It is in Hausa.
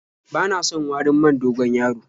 Bana son warin man dogon-yaro.